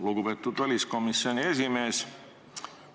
Lugupeetud väliskomisjoni esimees!